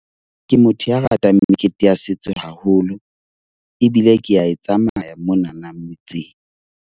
Ke motho ya ratang mekete ya setso haholo, ebile ke a e tsamaya monana motseng.